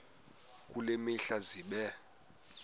kule mihla zibe